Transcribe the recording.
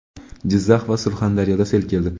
Jizzax va Surxondaryoda sel keldi.